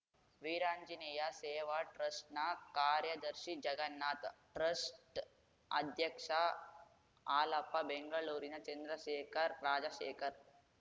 ವೀರಾಂಜನೇಯ ಸೇವಾ ಟ್ರಸ್ಟ್‌ನ ಕಾರ್ಯದರ್ಶಿ ಜಗನ್ನಾಥ್‌ ಟ್ರಸ್ಟ್‌ ಅಧ್ಯಕ್ಷ ಹಾಲಪ್ಪ ಬೆಂಗಳೂರಿನ ಚಂದ್ರಶೇಖರ್‌ ರಾಜಶೇಖರ್‌